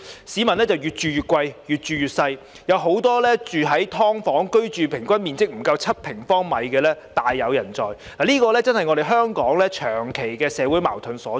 市民越住越貴，越住越細，很多人居住在平均面積不足7平方米的"劏房"，而這正是香港長期的社會矛盾所在。